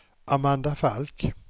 Amanda Falk